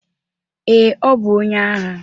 Ee, ọ bụ onye agha.